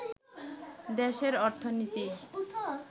দেশের অর্থনীতি